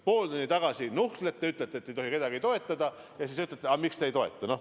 Pool tundi tagasi nuhtlesite meid ja ütlesite, et ei tohi kedagi toetada, ja seejärel ütlete, et miks te ei toeta.